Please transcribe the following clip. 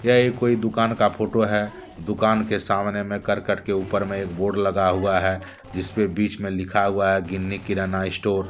यह एक कोई दुकान का फोटो है दुकान के सामने में करकट के ऊपर में एक बोर्ड लगा हुआ है जिसपे बीच में लिखा हुआ है गिन्नी किराना स्टोर ।